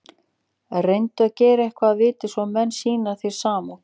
Reyndu að gera eitthvað að viti, svo menn sýni þér samúð.